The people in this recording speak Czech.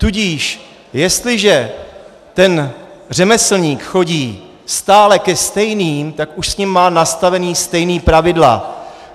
Tudíž jestliže ten řemeslník chodí stále ke stejným, tak už s nimi má nastavená stejná pravidla.